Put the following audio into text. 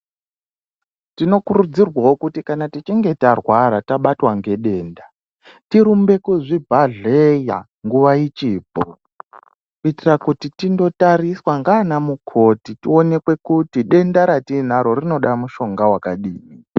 Tinokurudzirwawo kuti kana tichinge tarwara, tabatwa ngedenda, tirumbe kuzvibhedhleya nguva ichipo. Kuitira kuti tindotariswa ngaana mukoti, tionekwe kuti denda ratiinaro rinoda mushonga wakadini?